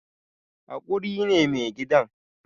Hakuri ne mai gidan